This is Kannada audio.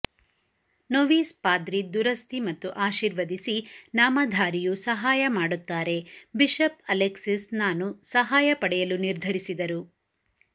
ನೊವೀಸ್ ಪಾದ್ರಿ ದುರಸ್ತಿ ಮತ್ತು ಆಶೀರ್ವದಿಸಿ ನಾಮಧಾರಿಯು ಸಹಾಯ ಮಾಡುತ್ತಾರೆ ಬಿಷಪ್ ಅಲೆಕ್ಸಿಸ್ ನಾನು ಸಹಾಯ ಪಡೆಯಲು ನಿರ್ಧರಿಸಿದರು